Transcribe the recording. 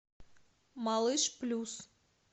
малыш плюс